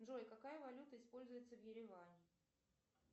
джой какая валюта используется в ереване